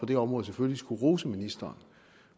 det område selvfølgelig skal rose ministeren